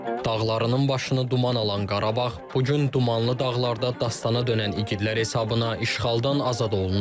Dağlarının başını duman alan Qarabağ bu gün dumanlı dağlarda dastana dönən igidlər hesabına işğaldan azad olunub.